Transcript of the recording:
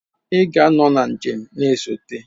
Ị ga-anọ na njem na-esote.